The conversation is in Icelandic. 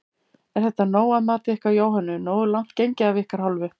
Er þetta nóg að mati ykkar Jóhönnu, nógu langt gengið af ykkar hálfu?